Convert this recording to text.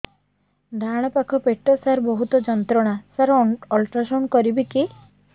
ଡାହାଣ ପାଖ ପେଟ ସାର ବହୁତ ଯନ୍ତ୍ରଣା ସାର ଅଲଟ୍ରାସାଉଣ୍ଡ କରିବି କି